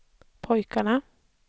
pojkarna